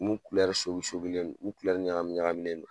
Mun sogi sogilen no, mun ɲagamin ɲagaminnen no